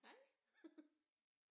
Hej